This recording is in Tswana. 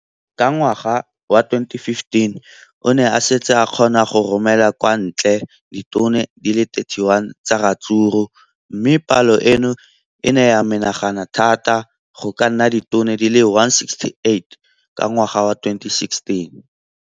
Ka ngwaga wa 2015, o ne a setse a kgona go romela kwa ntle ditone di le 31 tsa ratsuru mme palo eno e ne ya menagana thata go ka nna ditone di le 168 ka ngwaga wa 2016.